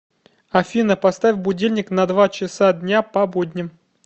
афина поставь будильник на два часа дня по будням